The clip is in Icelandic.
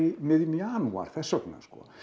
í miðjum janúar þess vegna